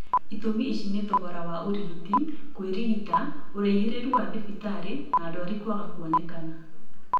itũmi ici ni ta thogora wa ũrigiti, kũĩrigita, ũraihĩrĩru wa thibitarĩ na ndwari kwaga kuoneka